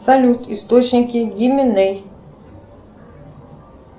салют источники диминей